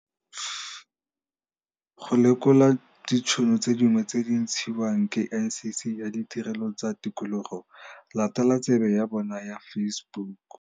Go lekola ditšhono tse dingwe tse di ntshiwang ke NCC ya Ditirelo tsa Tikologo, latela tsebe ya bona ya Facebook.